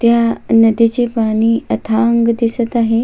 त्या नदीचे पाणी अथांग दिसत आहे.